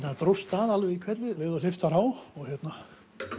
það dróst að alveg í hvelli um leið og hleypt var á og hérna